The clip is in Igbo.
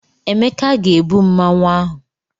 Emeka ga-ebu Mmanwu ahụ.